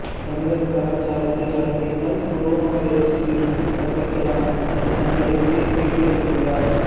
தமிழர் கலாச்சாரத்தை கடைபிடித்தால் கொரோனா வைரஸில் இருந்து தப்பிக்கலாம் என நடிகர் விவேக் பேட்டி அளித்துள்ளார்